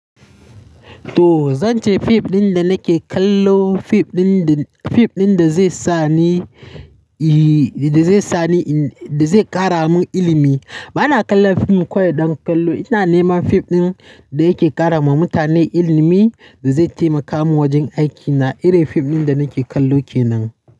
To zan ce fim ɗin da nake kallo, fim ɗin da, fim ɗin da zai sa ni, eh da zai sa ni, da zai ƙara mun ilimi. Bana kallon fim kawai don kallo, ina neman fim ɗin da yake ƙara ma mutane ilimi, da zai taimaka mun wajen aikina. Irin fim ɗin da nake kallo kenan.